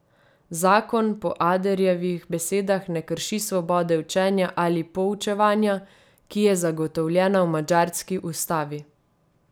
Zakon po Aderjevih besedah ne krši svobode učenja ali poučevanja, ki je zagotovljena v madžarski ustavi.